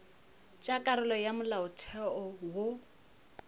tša karolo ya molaotheo wo